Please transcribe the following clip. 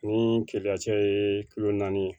Ni keleya cɛ ye naani ye